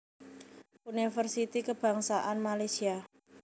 Universiti Kebangsaan Malaysia